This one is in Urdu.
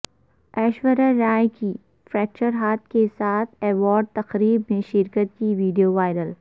ایشوریہ رائے کی فریکچر ہاتھ کیساتھ ایوارڈ تقریب میں شرکت کی ویڈیو وائرل